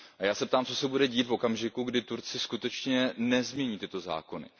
A já se ptám Co se bude dít v okamžiku, kdy Turci skutečně nezmění tyto zákony?